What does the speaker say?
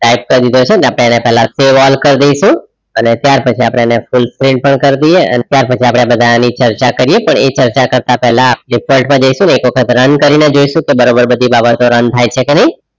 type કરી દેઇશુ આપણે એને પેલા save all કરી દેસુ અને ત્યાર પછી એને full print પણ કાર્ડીયે પછી આપણે બધા એની ચર્ચા કરીએ પણ એ ચર્ચા કરતા પેહલા default માં જઈસુ એક વખત run કરીને જોઇશુ બારોબાર બધી બાબતો run થાય છે કે નહીં